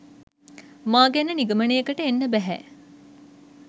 මා ගැන නිගමනයකට එන්න බැහැ.